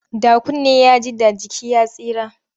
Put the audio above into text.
Da kunne ya ji, da jiki ya tsira.